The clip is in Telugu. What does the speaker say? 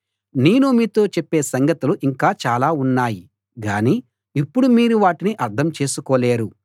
నేను మీతో చెప్పే సంగతులు ఇంకా చాలా ఉన్నాయి గాని ఇప్పుడు మీరు వాటిని అర్థం చేసుకోలేరు